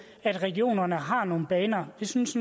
at regionerne har nogle baner vi synes